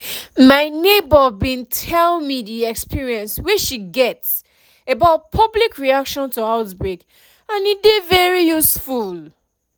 my neighbor bin tell me the experience wey she get about public reaction to outbreak and e dey very useful